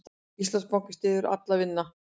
Íslandsbanki styður Allir vinna